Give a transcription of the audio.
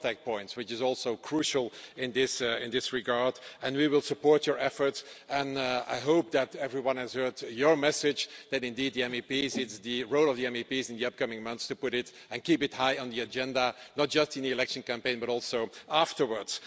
the contact points, which is also crucial in this regard. We will support your efforts and I hope that everyone has heard your message, that indeed it is the role of the MEPs in the up coming months to put it and keep it high on the agenda, not just in the election campaign, but also afterwards.